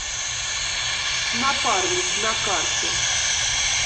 напарник на карте